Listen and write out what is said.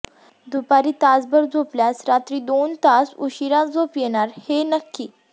दुपारी तासभर झोपल्यास रात्री दोन तास उशीरा झोप येणार हे नक्की